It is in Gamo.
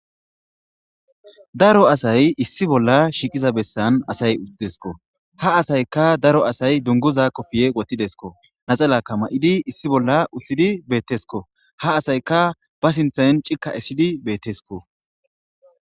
Daro asay issi bolla shiqiza bessan asay utidesko ha asayka daro asay dunguza kofiye wotidesko naxalaka ma'idi issi bolla uthidi beettesko ha asayka ba sinthann cikka essidi beettesko.